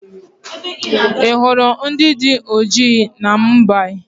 Ị hụrụ ndị dị ọjị na Mumbai?